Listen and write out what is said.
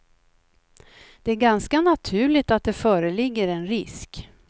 Det är ganska naturligt att det föreligger en risk.